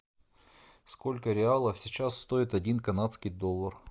сколько реалов сейчас стоит один канадский доллар